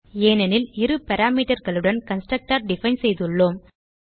ஏனெனில் இரு Parameterகளுடன் கன்ஸ்ட்ரக்டர் டிஃபைன் செய்துள்ளோம்